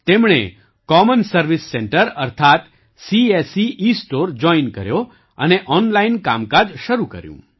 તેમણે common service centre અર્થાત્ CSC e store join કર્યો અને ઑનલાઇન કામકાજ શરૂ કર્યું